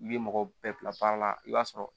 I bɛ mɔgɔ bɛɛ bila baara la i b'a sɔrɔ